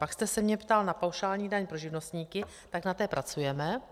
Pak jste se mě ptal na paušální daň pro živnostníky, tak na té pracujeme.